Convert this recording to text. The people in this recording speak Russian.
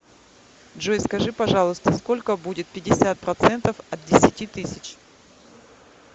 джой скажи пожалуйста сколько будет пятьдесят процентов от десяти тысяч